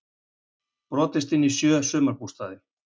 Brotist inn í sjö sumarbústaði